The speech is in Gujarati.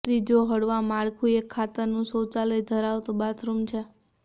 ત્રીજો હળવા માળખું એક ખાતરનું શૌચાલય ધરાવતું બાથરૂમ છે